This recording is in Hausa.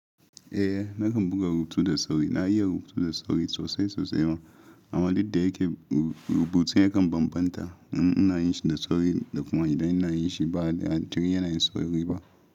Eh, nakan buga rubutu da sauri na iya rubutu da sauri sosai sosai ma. Amma duk da yake rubutun ya kan bambanta in ina yi shi da sauri da kuma idan ina yi shi ba a jiri yana yin sauri ba.